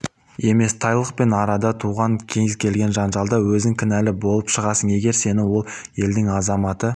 емес тайлықпен арада туындаған кез-келген жанжалда өзің кінәлі болып шығасың егер сені сол елдің азаматы